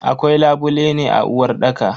Akwai labule a uwarɗaka.